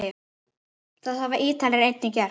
Það hafa Ítalir einnig gert.